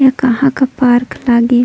ए कहा का पार्क लागे।